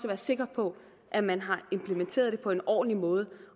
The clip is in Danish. være sikker på at man har implementeret det på en ordentlig måde